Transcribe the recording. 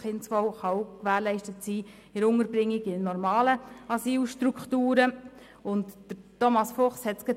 Das Kindeswohl kann auch bei der Unterbringung in normalen Asylstrukturen gewährleistet sein.